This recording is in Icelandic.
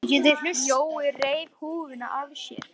Jói reif húfuna af sér.